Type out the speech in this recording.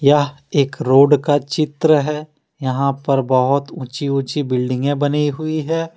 यह एक रोड का चित्र है यहां पर बहुत ऊंची ऊंची बिल्डिंग बनी हुई है।